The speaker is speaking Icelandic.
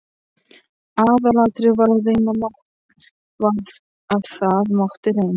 Aðalatriðið var að það mátti reyna.